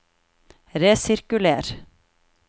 resirkuler